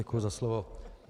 Děkuji za slovo.